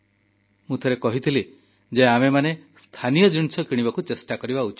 ମୁଁ ଥରେ କହିଥିଲି ଯେ ଆମେମାନେ ସ୍ଥାନୀୟ ଜିନିଷ କିଣିବାକୁ ଚେଷ୍ଟା କରିବା ଉଚିତ